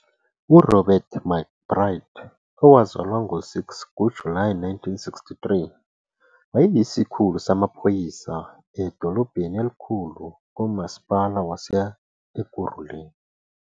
URobert McBride, owazalwa ngo-6 kuJulayi 1963, wayeyisikhulu samaphoyisa edolobheni elikhulu kuMasipala wase-Ekurhuleni.